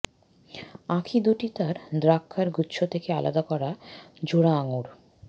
আঁখি দুটি তার দ্রাক্ষার গুচ্ছ থেকে আলাদা করা জোড়া আংগুর